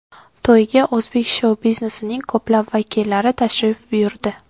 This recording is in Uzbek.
To‘yga o‘zbek shou-biznesining ko‘plab vakillari tashrif buyurdi.